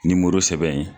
Nimoro sɛbɛn in